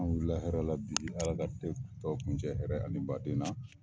An wulila hɛrɛ la bi ALA ka kile tɔ kuncɛ hɛrɛ ani baden na.